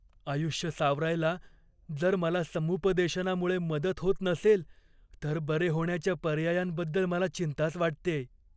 आयुष्य सावरायला जर मला समुपदेशनामुळे मदत होत नसेल तर बरे होण्याच्या पर्यायांबद्दल मला चिंताच वाटतेय.